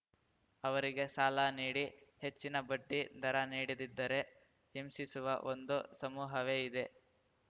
ಅವರಿಗೆ ಸಾಲ ನೀಡಿ ಹೆಚ್ಚಿನ ಬಡ್ಡಿ ದರ ನೀಡದಿದ್ದರೆ ಹಿಂಸಿಸುವ ಒಂದು ಸಮೂಹವೇ ಇದೆ